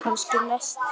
Kannski næst?